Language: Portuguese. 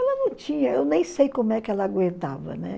Ela não tinha, eu nem sei como é que ela aguentava, né?